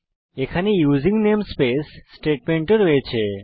এখানে using namespace statement ও রয়েছে